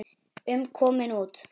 um komin út.